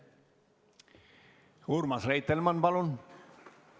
Urmas Reitelmann, palun!